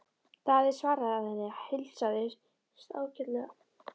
Daði svaraði að henni heilsaðist ágætlega.